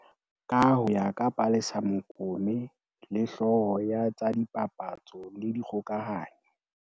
Ka ho ya ka Palesa Mokome le, hlooho ya tsa dipapatso le dikgokahanyo